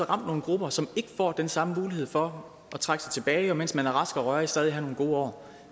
ramt nogle grupper som ikke får den samme mulighed for at trække sig tilbage mens de er raske og rørige og stadig har nogle gode år